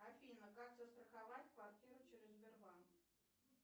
афина как застраховать квартиру через сбер банк